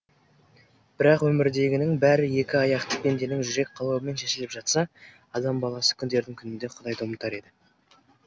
бірақ өмірдегінің бәрі екі аяқты пенденің жүрек қалауымен шешіліп жатса адам баласы күндердің күнінде құдайды ұмытар еді